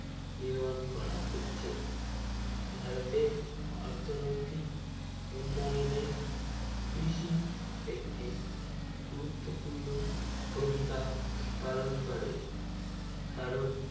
নির্মাণ করা হচ্ছে ভারতে অর্থনৈতিক উন্নয়ন এ কৃষি একটি গুরুত্ব পূর্ণ ভূমিকা পালন করে কারণ